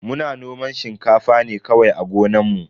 Muna noman shinkafa ne kawai a gonan mu.